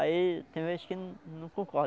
Aí tem vezes que não não